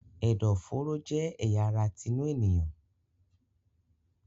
Ẹ̀dọ̀-fòróró jẹ́ ẹ̀ya ara tinú ènìyàn.